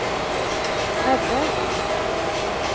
redde